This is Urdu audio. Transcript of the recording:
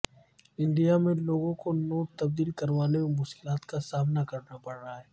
انڈیا میں لوگوں کو نوٹ تبدیل کروانے میں مشکلات کا سامنا کرنا پڑا ہے